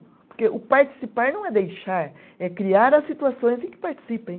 Porque o participar não é deixar, é criar as situações em que participem.